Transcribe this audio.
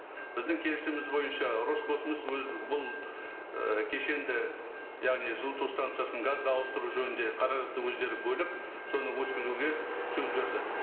біздің келісіміміз бойынша роскосмос өзі бұл і кешенді яғни жылыту станциясын газға ауыстыру жөнінде қаражатты өздері бөліп соны өткізуге сөз берді